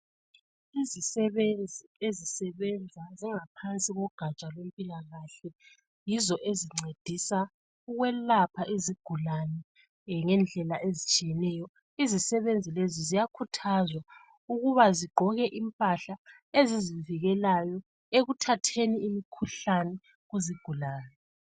Izisebenzi ezisebenza zingaphansi ko gaja lwezempilakahle yizo ezingcedisa ukuyelapha izigulani ngendlela ezitshiyeneyo izisebenzi lezi ziyakhuthazwa ukuthi izgqoke impahla ezizivikelayo ukuze zingatholi imikhuhlane kuzigulani